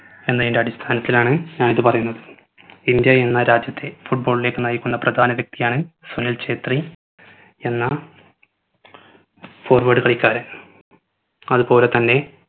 എന്നതിന്റെ അടിസഥാനത്തിലാണ് ഞാൻ ഇത് പറയുന്നത് ഇന്ത്യ എന്ന രാജ്യത്തെ football ലേക്ക് നയിക്കുന്ന പ്രധന വ്യക്തിയാണ് സുനിൽ ഛേത്രി എന്ന forward കളിക്കാരൻ അത് പോലെ തന്നെ